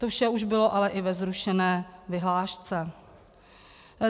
To vše už bylo ale i ve zrušené vyhlášce.